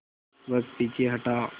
वह पीछे हटा